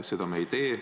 Seda me ei tee.